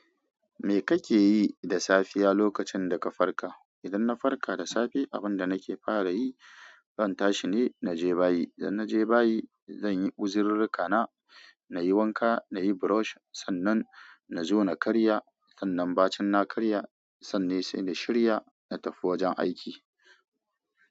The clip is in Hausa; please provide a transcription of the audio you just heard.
Me kake yi da safiya lokacin da ka farka? Idan na farka da safe, abin da nake fara yi, zan tashi ne na je bayi. Idan na je bayi, zanyi uzururrukana na, na yi wanka, na yi brush, sannan na zo na karya. Sannan bacin na karya, sannan sai na shirya na tafi wajen aiki.